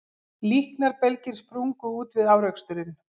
Líknarbelgir sprungu út við áreksturinn